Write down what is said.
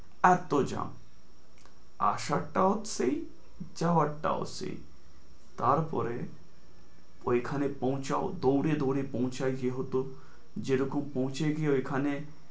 এত্তো jam আসারটাও সেই যাওয়ারটাও সেই, তারপরে ওইখানে পৌঁছাও, দৌড়ে দৌড়ে পৌঁছাই যেহেতু যেরকম পৌঁছে গিয়ে ওইখানে